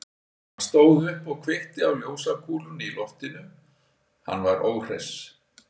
Hann stóð upp og kveikti á ljósakúlunni í loftinu, hann var óhress.